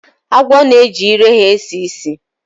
Agwo na-eji ire ha na-esi ísì